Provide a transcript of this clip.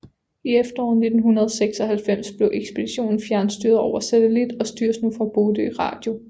I efteråret 1996 blev ekspeditionen fjernstyret over satellit og styres nu fra Bodø Radio